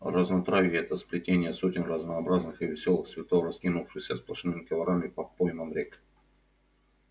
разнотравье это сплетение сотен разнообразных и весёлых цветов раскинувшихся сплошными коврами по поймам рек